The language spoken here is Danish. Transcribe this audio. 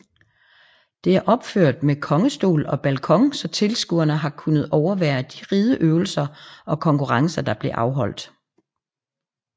Det er opført med kongestol og balkon så tilskuerede har kunnet overvære de rideøvelser og konkurrencer der blev afholdt